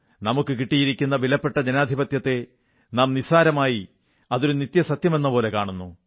നമുക്കു കിട്ടിയിരിക്കുന്ന വിലപ്പെട്ട ജനാധിപത്യത്തെ നാം നിസ്സാരമായി അതൊരു നിത്യസത്യമെന്ന പോലെ കാണുന്നു